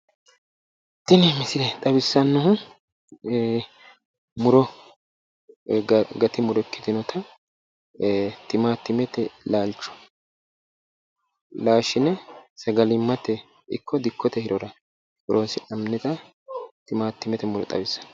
Tini misile xawissannohu muro gati muro ikkitinota timaatimete laalcho laashshine sagalimmate ikko dikkote hirora horonsi'nannita timaatimete muro xawissanno.